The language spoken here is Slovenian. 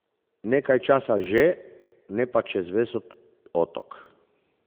Nekaj časa že, ne pa čez ves otok.